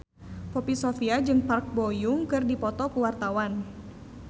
Poppy Sovia jeung Park Bo Yung keur dipoto ku wartawan